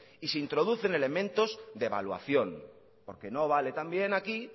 y se introducen elementos de evaluación porque no vale también aquí